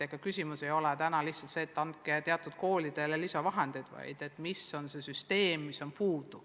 Ega küsimus ei ole lihtsalt selles, kas anda teatud koolidele lisavahendeid, küsimus on selles, mis on süsteemis on puudu.